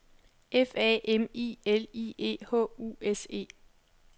F A M I L I E H U S E